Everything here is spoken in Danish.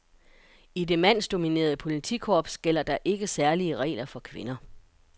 I det mandsdominerede politikorps, gælder der ikke særlige regler for kvinder.